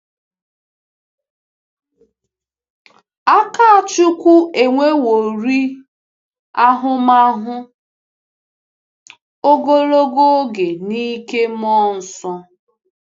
Akáchukwu enweworị ahụmahụ ogologo oge n’ike Mmụọ Nsọ.